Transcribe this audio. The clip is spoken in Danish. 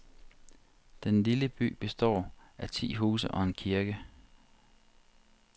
Den lille by består af ti huse og en kirke.